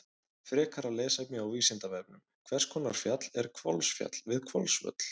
Frekara lesefni á Vísindavefnum: Hvers konar fjall er Hvolsfjall við Hvolsvöll?